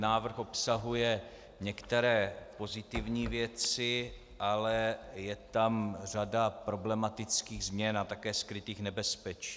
Návrh obsahuje některé pozitivní věci, ale je tam řada problematických změn a také skrytých nebezpečí.